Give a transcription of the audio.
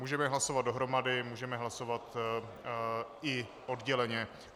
Můžeme hlasovat dohromady, můžeme hlasovat i odděleně.